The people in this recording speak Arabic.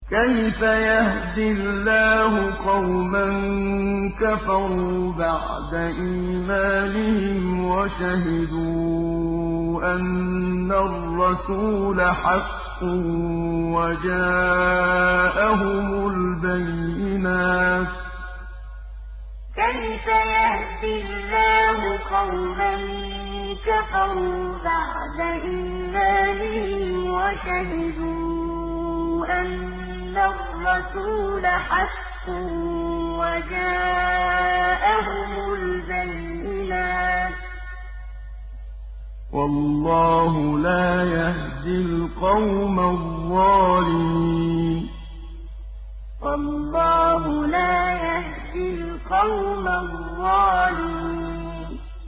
كَيْفَ يَهْدِي اللَّهُ قَوْمًا كَفَرُوا بَعْدَ إِيمَانِهِمْ وَشَهِدُوا أَنَّ الرَّسُولَ حَقٌّ وَجَاءَهُمُ الْبَيِّنَاتُ ۚ وَاللَّهُ لَا يَهْدِي الْقَوْمَ الظَّالِمِينَ كَيْفَ يَهْدِي اللَّهُ قَوْمًا كَفَرُوا بَعْدَ إِيمَانِهِمْ وَشَهِدُوا أَنَّ الرَّسُولَ حَقٌّ وَجَاءَهُمُ الْبَيِّنَاتُ ۚ وَاللَّهُ لَا يَهْدِي الْقَوْمَ الظَّالِمِينَ